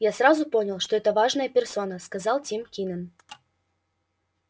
я сразу понял что это важная персона сказал тим кинен